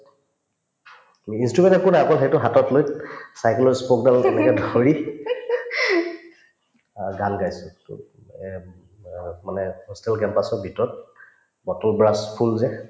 instrument একো নাই অকল সেইটো হাতত লৈ cycle ৰ spoke ডাল হাতেৰে ধৰি অ গান গাইছো অ মানে hostel ৰ campus ৰ ভিতৰত ফুল যে